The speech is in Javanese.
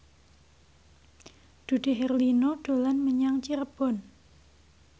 Dude Herlino dolan menyang Cirebon